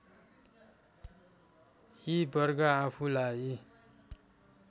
यी वर्ग आफूलाई